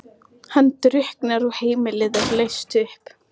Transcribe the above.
Þið vilduð firra ykkur sjálfa allri ábyrgð.